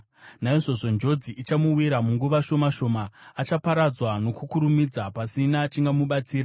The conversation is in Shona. Naizvozvo njodzi ichamuwira munguva shoma shoma; achaparadzwa nokukurumidza, pasina chingamubatsira.